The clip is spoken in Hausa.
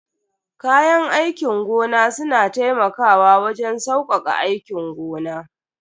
Kayan aikin gona suna taimakawa wajen saukaka aikin gona.